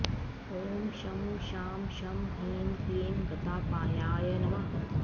ॐ शं शां षं ह्रीं क्लीं गतापायाय नमः